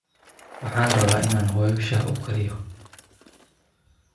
Waxaan rabaa inaan hooyoo shaaah uu kariyo